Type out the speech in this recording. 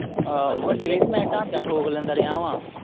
ਆਹੋ ਵੱਡੇ ਦੇ ਵੀ ਮੈਂ ਢਾਂਚਾ ਠੋਕ ਲੈਂਦਾ ਰਿਹਾ ਹੈਂ।